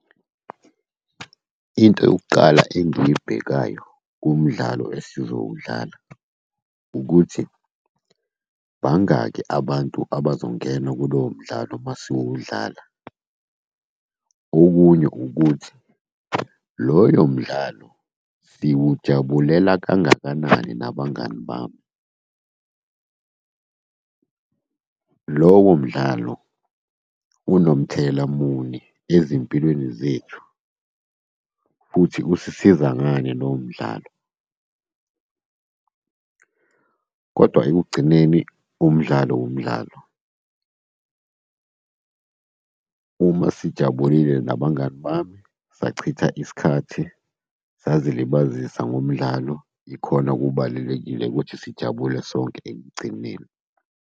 Into yokuqala engiyibhekayo kummdlalo esizowudlala ukuthi bangaki abantu abazongena kulowo mdlalo uma siwudlala? Okunye ukuthi, loyo mdlalo siwujabulela kangakanani nabangani bami. Lowo mdlalo unomthelela muni ezimpilweni zethu, futhi kusisiza ngani lowo mdlalo, kodwa ekugcineni umdlalo wumdlalo. Uma sijabulile nabangani bami sachitha isikhathi, sazilibazisa ngomdlalo, ikhona okubalulekile ukuthi sijabule sonke ekugcineni.